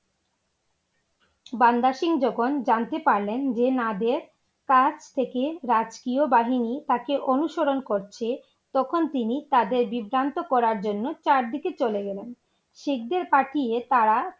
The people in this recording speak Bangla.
বান্দা সিং যখন জানতে পারলেন যে নদের কাজ থেকে রাজকীয় বাহিনী তাকে অনুসরণ করছে তখন তিনি তাদের বিভ্রান্ত করার জন্য চার দিকে চলে গেলেন । শিখদের পাঠিয়ে তারা!